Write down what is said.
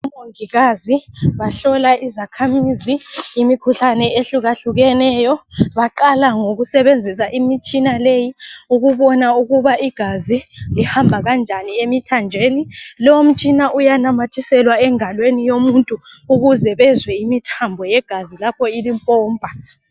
OMongikazi bahlola izakhamizi imikhuhlane ehlukahlukeneyo. Baqala ngokusebenzisa imitshina leyi ukubona ukuba igazi lihamba kanjani emithanjeni. Lo umtshina uyananyathiselwa engalweni yomuntu ukuze bezwe imithambo yegazi lapho ilipompa.